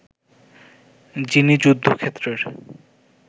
যিনি যুদ্ধক্ষেত্রের